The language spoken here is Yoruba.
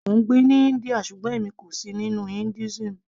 mò ń gbé ní India ṣùgbọ́n èmi kò sì nínú Hinduism